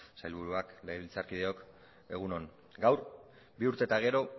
sailburuak legebiltzarkideok egun on gaur bi urte eta gero